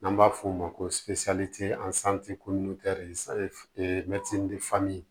N'an b'a f'o ma ko